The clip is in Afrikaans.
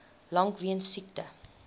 lank weens siekte